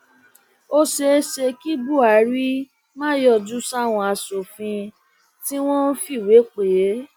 ó ṣeé ṣe kí buhari má yọjú sáwọn aṣòfin tí wọn fìwé pè é